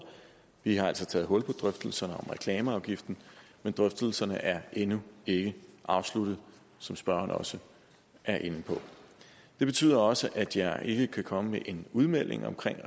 vi har altså taget hul på drøftelserne om reklameafgiften men drøftelserne er endnu ikke afsluttet som spørgeren også er inde på det betyder også at jeg ikke kan komme med en udmelding om